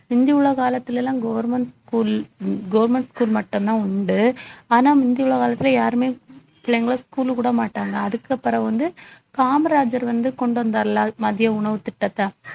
முந்தி உள்ள காலத்துல எல்லாம் government school government school மட்டும்தான் உண்டு ஆனா முந்தி உள்ள காலத்துல யாருமே பிள்ளைங்களை school க்கு விட மாட்டாங்க அதுக்கப்புறம் வந்து காமராஜர் வந்து கொண்டு வந்தாருல மதிய உணவு திட்டத்தை